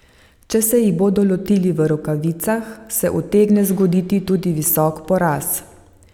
Če se jih bodo lotili v rokavicah, se utegne zgoditi tudi visok poraz.